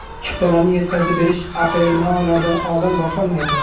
Chiptalarni yetkazib berish aprelmay oylaridan oldin boshlanmaydi.